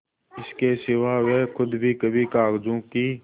इसके सिवा वे खुद भी कभी कागजों की